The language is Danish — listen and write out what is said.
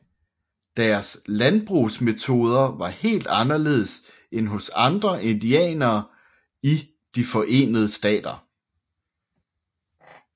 Deres landbrugsmetoder var helt anderledes end hos andre indianere i de Forenede Stater